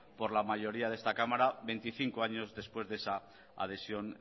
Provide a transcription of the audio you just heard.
por la mayoría de esta cámara veinticinco años después de esa adhesión